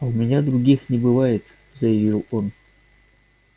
а у меня других не бывает заявил он